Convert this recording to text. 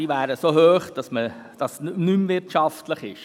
Diese wären so hoch, dass es nicht mehr wirtschaftlich wäre.